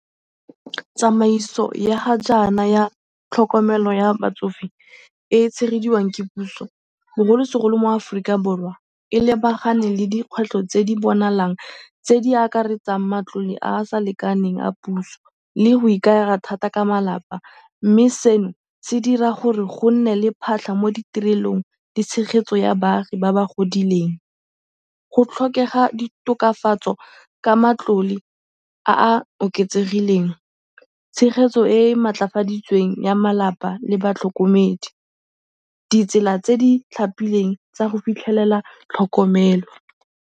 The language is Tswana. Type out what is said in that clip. Tsamaiso ya ga jaana ya tlhokomelo ya batsofe e e tshegediwang ke puso, bogolosegolo mo Aforika Borwa, e lebagane le dikgwetlho tse di bonalang tse di akaretsang matlole a a sa lekaneng a puso le go ikaega thata ka malapa mme seno se dira gore go nne le phatlha mo ditirelong le tshegetso ya baagi ba ba godileng. Go tlhokega ditokafatso ka matlole a a oketsegileng, tshegetso e e maatlafaditsweng ya malapa le batlhokomedi, ditsela tse di tlhapileng tsa go fitlhelela tlhokomelo.